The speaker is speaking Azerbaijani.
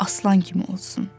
aslan kimi olsun.